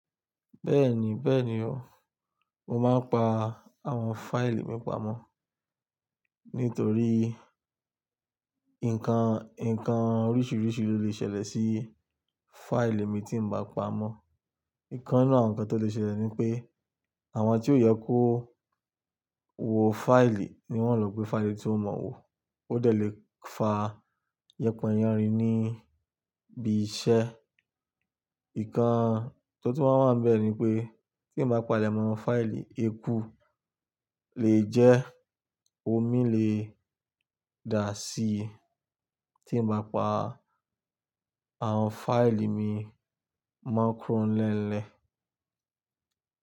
Bẹ́ẹ̀ni, bẹ́ẹ̀ni o. Mo máa ń pa àwọn fáìlì mi pamọ́ nítorí nǹkan, nǹkan oríṣiríṣi ló lè ṣẹlẹ̀ sí fáìlì mi tí n bá pa mó. Nǹkan náà kan tó lè ṣẹlẹ̀ ni pé àwọn tí ó yẹ kó wo fáìlì ni wọ́n o lò pé fáìlì tí ó mọ wò ó lè fa yẹpọ yánrin níbi iṣẹ́. Nǹkan tó tun máa ń wá ni bẹ́ ni pé ti eyan bá pa lẹ́mọ́ fáìlì eku lè jẹ́ omi lè dà síi tí n bá pa àwọn fáìlì mi máa ń kúrò lẹ́lẹ̀.